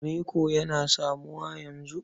Reko yana samuwa yanzu.